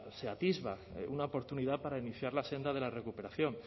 se atisba una oportunidad para iniciar la senda de la recuperación